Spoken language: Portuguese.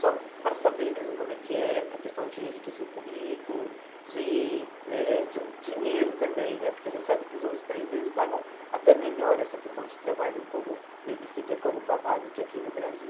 só para saber mesmo como é que é, para a questão de enriquecer o currículo, de eh de dinheiro também né, porque a gente sabe que os outros países pagam até melhor essa questão de trabalho como babysitter, como babá, do que aqui no Brasil.